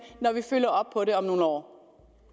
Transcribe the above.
når vi følger op på det om nogle år